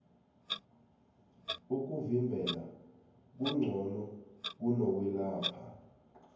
ukuvimbela kungqono kuno kwelapha